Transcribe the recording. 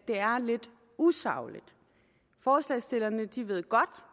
det er lidt usagligt forslagsstillerne ved godt